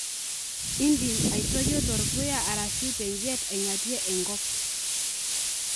indim aitoyio terpuya arashu tenjit aingatie enkop